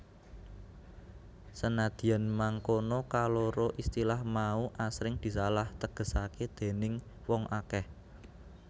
Senadyan mangkono kaloro istilah mau asring disalah tegesaké déning wong akèh